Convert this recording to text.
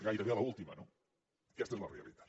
gairebé l’última no aquesta és la realitat